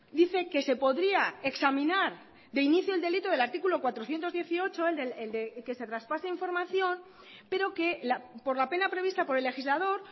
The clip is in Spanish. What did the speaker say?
dice que se podría examinar de inicio el delito del artículo cuatrocientos dieciocho el de que se traspase información pero que por la pena prevista por el legislador